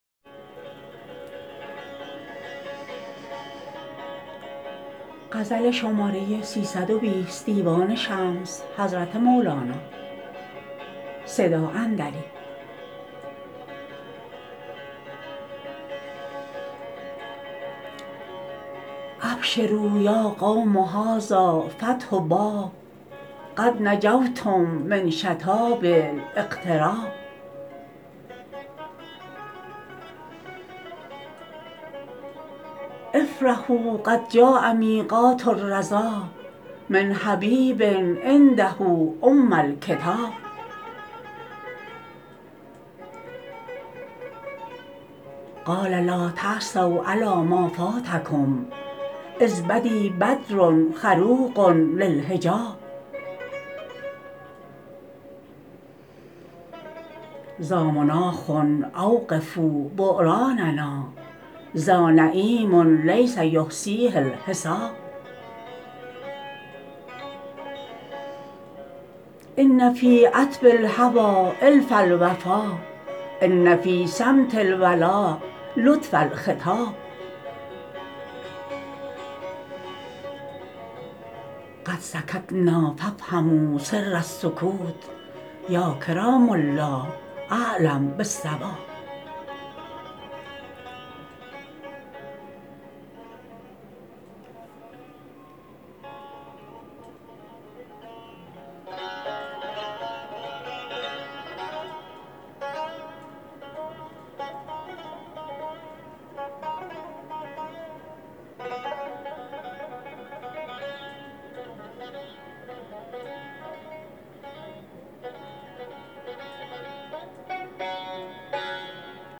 ابشروا یا قوم هذا فتح باب قد نجوتم من شتاب الاغتراب افرحوا قد جاء میقات الرضا من حبیب عنده ام الکتاب قال لا تأسوا علی ما فاتکم اذ بدی بدر خروق اللحجاب ذا مناخ اوقفوا بعراننا ذا نعیم لیس یحصیه الحساب ان فی عتب الهوی الف الوفا ان فی صمت الولا لطف الخطاب قد سکتنا فافهموا سر السکوت یا کرام الله اعلم بالصواب